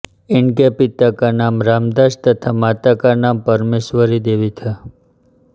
इनके पिता का नाम रामदास तथा माता का नाम परमेश्वरी देवी था